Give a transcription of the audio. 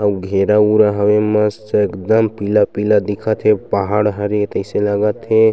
अउ घेरा उरा हवे मस्त एकदम पीला-पीला दिखत हे अउ पहाड़ हरे तइसे लगत हे।